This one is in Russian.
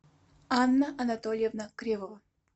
анна анатольевна кривова